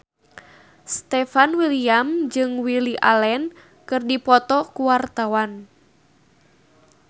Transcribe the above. Stefan William jeung Lily Allen keur dipoto ku wartawan